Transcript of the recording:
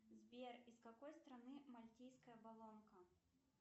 сбер из какой страны мальтийская болонка